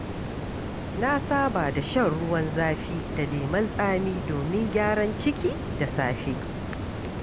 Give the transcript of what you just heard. Na saba da shan ruwan zafi da lemon tsami domin gyaran ciki da safe.